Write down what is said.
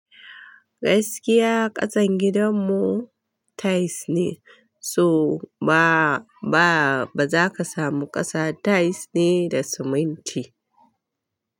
Gaskiya ƙasan gidanmu tiles ne, so ba, ba, ba za ka samu ƙasa tiles ne da siminti.